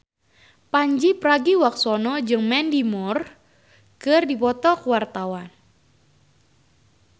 Pandji Pragiwaksono jeung Mandy Moore keur dipoto ku wartawan